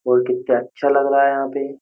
और कितना अच्छा लग रहा है यहाँ पे।